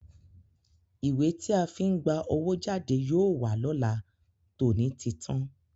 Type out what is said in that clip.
Ìwé tí a fi ń gba owó jáde yóò wà lọ́la, tòní ti tán.